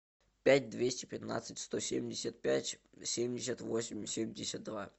пять двести пятнадцать сто семьдесят пять семьдесят восемь семьдесят два